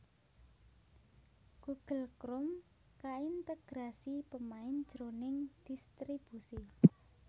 Google Chrome kaintegrasi pemain jroning dhistribusi